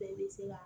Bɛɛ bɛ se ka